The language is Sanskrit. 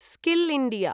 skill India